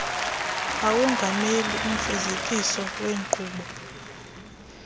awongamele ufezekiso lweenkqubo